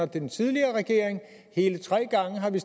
den tidligere regering hele tre gange har vi